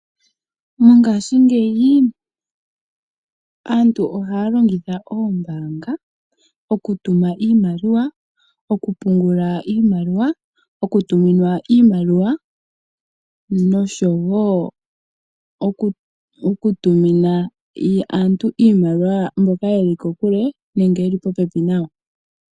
Mongaashingeyi aantu ohaa longitha oombaanga oku tuma iimaliwa, oku pungula iimaliwa, oku tuminwa iimaliwa nosho woo oku tumina aantu iimaliwa mboka ye li kokule nenge ye li popepi nayo.